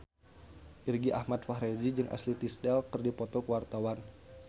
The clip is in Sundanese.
Irgi Ahmad Fahrezi jeung Ashley Tisdale keur dipoto ku wartawan